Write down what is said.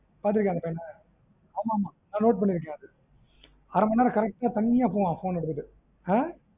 பாத்துருக்கியா அந்த பையன ஆமா ஆமா நா note பண்ணிருக்கன் அது அரைமணிநேரம் correct தனியா போவான் phone எடுத்துட்டு அஹ்